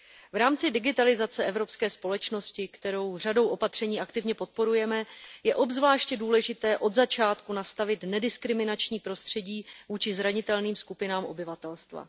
V rámci digitalizace evropské společnosti, kterou řadou opatření aktivně podporujeme, je obzvláště důležité od začátku nastavit nediskriminační prostředí vůči zranitelným skupinám obyvatelstva.